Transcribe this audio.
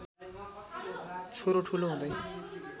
छोरो ठूलो हुँदै